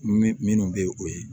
Min minnu bɛ o ye